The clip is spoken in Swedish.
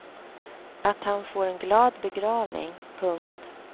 Att han får en glad begravning. punkt